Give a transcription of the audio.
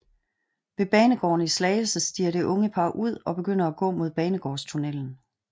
Ved banegården i Slagelse stiger det unge par ud og begynder at gå mod banegårdstunnelen